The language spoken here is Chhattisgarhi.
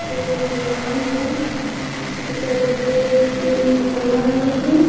कोई भगवान के एकर गेट में ताला लगे हे।